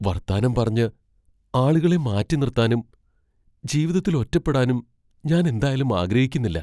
വർത്താനം പറഞ്ഞ് ആളുകളെ മാറ്റിനിർത്താനും, ജീവിതത്തിൽ ഒറ്റപ്പെടാനും ഞാൻ എന്തായാലും ആഗ്രഹിക്കുന്നില്ല.